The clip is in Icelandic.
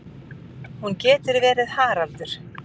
Hún getur verið Haraldur